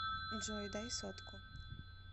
джой дай сотку